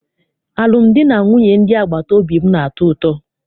Alụmdi na nwunye ndị agbata obi m na-atọ ụtọ.